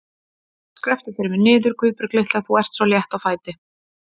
Skrepptu fyrir mig niður, Guðbjörg litla, þú ert svo létt á fæti.